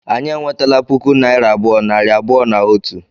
Anyị enwetela puku naịra abụọ, nari abụọ na otu